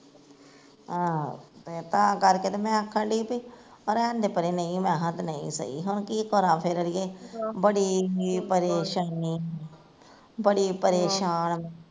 ਆਹੋ, ਫੇਰ ਤਾਂ ਕਰਕੇ ਤੇ ਮੈਂ ਆਖਣ ਡਈ ਵੀ, ਰਹਿਣਦੇ ਪਰੇ ਨਹੀਂ ਮੈਂ ਕਿਹਾ ਤੇ ਨਹੀਂ ਸਹੀ ਹੁਣ ਕੀ ਕਰਾ ਫੇਰ ਅੜੀਏ, ਬੜੀ ਈ ਪਰੇਸ਼ਾਨੀ ਬੜੀ ਪਰੇਸ਼ਾਨ ਆ